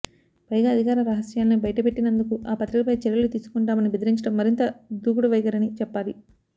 పైగా అధికార రహస్యాల్ని బయటపెట్టినందుకు ఆ పత్రికపై చర్యలు తీసుకుంటామని బెదిరించడం మరింత దుడుకు వైఖరి అని చెప్పాలి